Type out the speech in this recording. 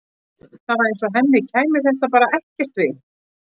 Það var eins og henni kæmi þetta bara ekkert við.